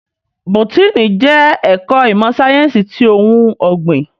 Bótìní jè èkò imò sáyènsí ti óoùn ògbín